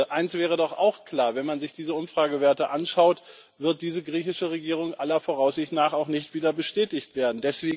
Eins wäre doch auch klar Wenn man sich diese Umfragewerte anschaut, wird diese griechische Regierung aller Voraussicht nach auch nicht wieder bestätigt werden.